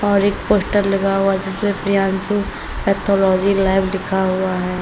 और एक पोस्टर लगा हुआ जिसपे प्रियांशु पैथोलॉजी लैब लिखा हुआ है।